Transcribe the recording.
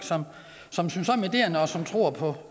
som synes om ideen og som tror på